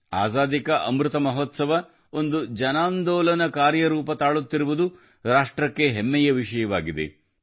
ಆಜಾದೀ ಕಾ ಅಮೃತಮಹೋತ್ಸವ ಒಂದು ಜನಾಂದೋಲನ ರೂಪ ತಾಳುತ್ತಿರುವುದು ರಾಷ್ಟ್ರಕ್ಕೆ ಹೆಮ್ಮೆಯ ವಿಷಯವಾಗಿದೆ